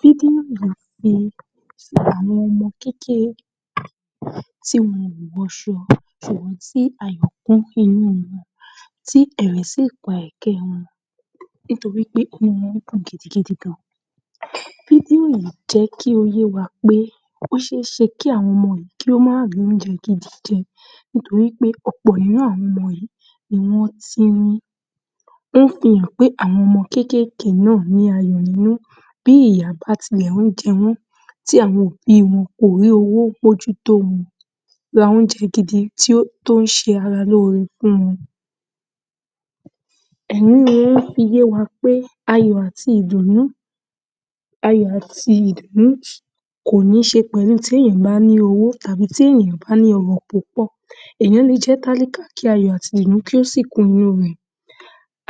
Fí dí àmòfìn àwọn ọmọ kékeré tí wọn ò wọṣọ tònu ti àyọ̀ kún inú wọn, tí ẹ̀rín sì pa ẹ̀kẹ́ wọn nítorí pé inú wọ́n kún gidigidi gan-an. Bíbélì jẹ́ kí ó yé wa pé ó ṣe é ṣe kí àwọn ọmọ yìí má rìí oúnjẹ gidi jẹ nítorí pé ọ̀pọ̀ irú àwọn ọmọ yìí ni wọ́n tírín. Ó fi hàn pé àwọn ọmọ kéékéèké yìí ò ní inú bí ìyà bá tilẹ̀ ń jẹ wọ́n tí àwọn òbí wọn kò rí owó mójútó wọn; ra oúnjẹ gidi tó ń ṣe ara lóore fún wọn. Èyí fi yé wa pé ayọ̀ àti ìdùnnú kò ní ṣòpin tí èẹ̀yàn bá ní owó tàí tí èẹ̀yàn ò bá ní ọrọ̀ púpọ̀. Èèyàñ le jẹ́ tálíkà kí àyọ̀ àti ìdùnnú kí ó sì kún inú rẹ̀.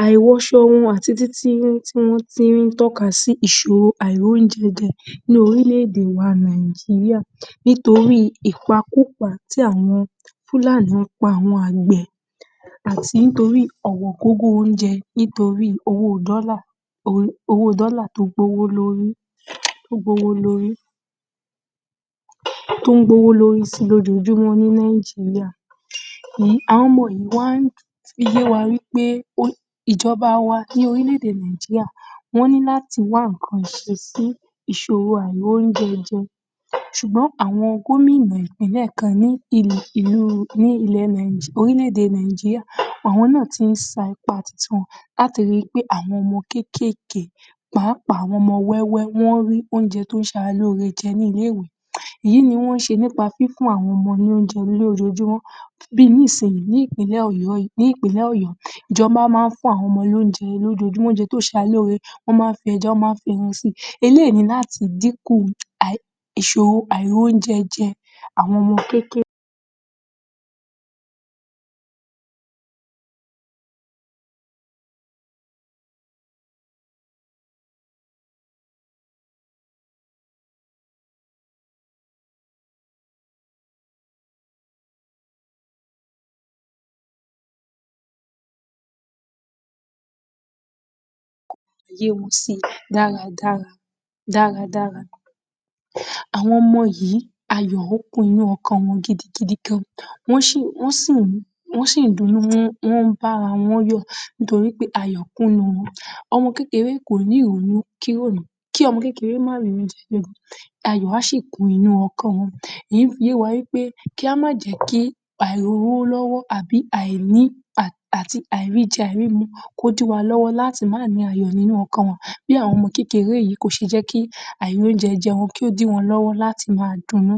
Àìwọṣọ wọn àti títínrín tí wọ́n tírín tọ́ka sí ìṣòro àìróúnjẹjẹ ní oríléèdè wa Nàìjíríà nítorí ìpakúpa tí àwọn Fulani ń pa àwọn àgbẹ̀ àti ńtorí ọ̀wọ́ngógó oúnjẹ nítorí owó dollar tó ń gbówó lórí sí i lójoojúmọ́ ní Nàìjíríà. Àwọn ọmọ yìí wá ń fi yé wa wí pé ìjọba wa ní oríléèdè Nàìjíríà ní láti wá nǹkan ṣe sí ìṣòro àìróúnjẹjẹ ṣùgbọ́n àwọn gómínà ìpínlẹ̀ kan ní oríléèdè Nàìjíríà àwọn náà ti ń sa ipá titi wọn láti rí i pé àwọñ ọmọ kéékéèké pàápàá àwọn ọmọ wẹ́wẹ́ wọ́n rí oúnjẹ tó ṣaralóore jẹ ní ilé ìwé. Èyí ni wọ́n ń ṣe nípa fífún àwọn ọmọ ní oúnjẹ ní ojoojúmọ́ bí i nísìnyí báyìí ní ìpínlẹ̀ Ọ̀yọ́ ìjọba máa ń fún àwọn ọmọ lóúnjẹ lójoojúmọ́. Oúnjẹ tó ṣaralóore ọ́ máa ń fẹja, ọ́ máa ń fẹran sí i. Eléyìí yìí ni láti dínkù ìṣòro àìróńjẹjẹ àwọn ọmọ kéékéèké yé wọn sí i dáradára. Àwọn ọmọ yìí àyọ̀ ó kún inú wọn gidigidi gan-an. Wọ́n sì ń dunnú, wọ́n ń bára wọ́n yọ̀ nítorí wí pé ayọ̀ kún inú wọn. Àwọn ọmọ kékeré kò ní ìrònú kí ọmọ kékeré mah tìí oúnjẹ, ayọ̀ á ṣì kún inú ọkàn wọn. Èyí fi yé wa wí pé kí á má jẹ́ kí àìlówó lọ́wọ́ tàbí àìríjẹ àìrímu kó dí wa lọ́wọ́ láti mah nìí ayọ̀ nínú ọkàn wọn. Bí àwọn ọmọ kékeré yìí ọ̀ ṣe jẹ́ kí àìróúnjẹjẹ kí ó dí wọñ lọ́wọ́ láti máa dúnnú